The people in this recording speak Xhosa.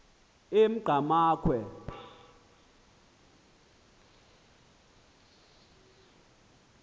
engqamakhwe